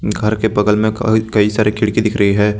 घर के बगल मे क कई सारी खिड़की दिख रही है।